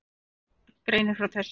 Skessuhorn greinir frá þessu